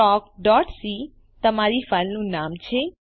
talkસી તમારી ફાઈલનું નામ છે